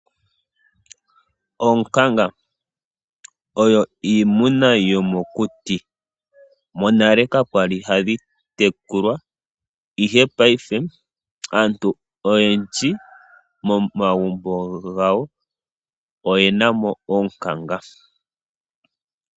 Oonkanga oyo iimuna yomokuti . Monale kakwali hadhi tekulwa ihe payife aantu oyendji momagumbo gawo oyenamo oonkanga.